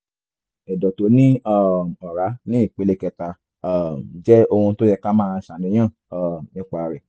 ẹ̀dọ̀ tó ní um ọ̀rá ní ìpele kẹta um jẹ́ ohun tó yẹ ká máa ṣàníyàn um nípa rẹ̀